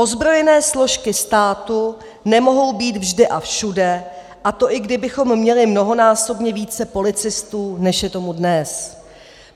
Ozbrojené složky státu nemohou být vždy a všude, a to i kdybychom měli mnohonásobně více policistů, než je tomu dnes.